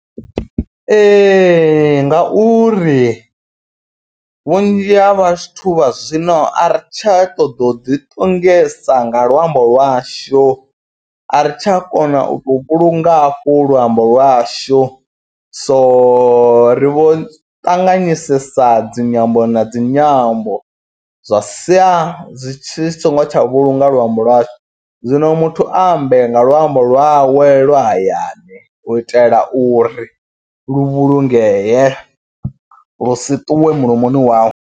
Ee ngauri vhunzhi ha vhathu vha zwino a ri tsha ṱoḓo u ḓiṱongisa nga luambo lwashu. A ri tsha kona u vho vhulunga hafho luambo lwashu so ri vho ṱanganyisa dzinyambo na dzinyambo. Zwa sia zwi tshi songo tsha vhulunga luambo lwashu zwino muthu ambe nga luambo lwawe lwa hayani. U itela uri lu vhulungee lu si ṱuwe mulomoni wawe.